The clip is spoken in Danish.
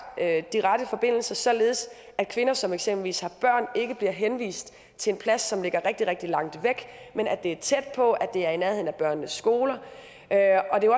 de rette forbindelser således at kvinder som eksempelvis har børn ikke bliver henvist til en plads som ligger rigtig rigtig langt væk men at det er tæt på og at det er i nærheden af børnenes skole det er jo